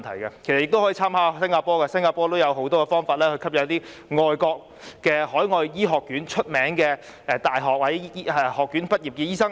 政府亦可參考新加坡的經驗，新加坡也有很多方法吸引海外著名醫學院醫科畢業生。